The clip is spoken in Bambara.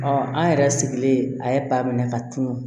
an yɛrɛ sigilen a ye ba minɛ ka tunu